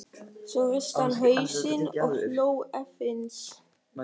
Svo hristi hann hausinn og hló efins.